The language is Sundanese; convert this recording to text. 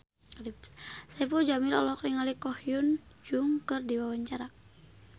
Saipul Jamil olohok ningali Ko Hyun Jung keur diwawancara